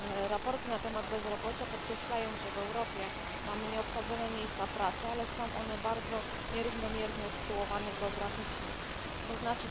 Raporty na temat bezrobocia podkreślają, że w Europie mamy nieobsadzone miejsca pracy, ale są one bardzo nierównomiernie usytuowane geograficznie, tzn.